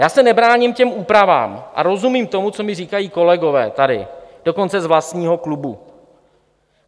Já se nebráním těm úpravám a rozumím tomu, co mi říkají kolegové tady, dokonce z vlastního klubu.